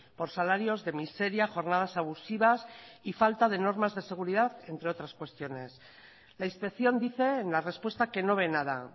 por salarios de miseria jornadas abusivas y falta de normas de seguridad entre otras cuestiones la inspección dice en la respuesta que no ve nada